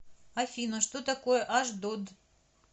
афина что такое ашдод